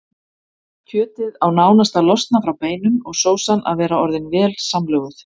Kjötið á nánast að losna frá beinum og sósan að vera orðin vel samlöguð.